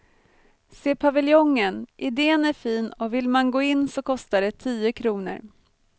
Se paviljongen, idén är fin och vill man gå in så kostar det tio kronor.